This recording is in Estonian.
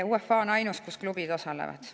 UEFA on ainus, kus klubid osalevad.